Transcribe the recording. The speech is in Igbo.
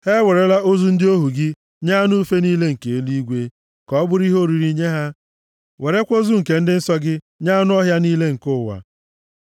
Ha ewerela ozu ndị ohu gị nye anụ ufe niile nke eluigwe ka ọ bụrụ ihe oriri nye ha, werekwa ozu nke ndị nsọ gị nye anụ ọhịa niile nke ụwa.